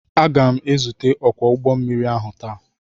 Aga m ezute onye ọkwọ ụgbọ mmiri ahụ taa.